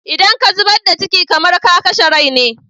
Idan ka zubar da ciki, kamar ka kashe rai ne.